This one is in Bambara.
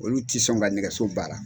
Olu ti sɔn ka nɛgɛso baara.